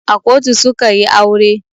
A kotu su ka yi aure.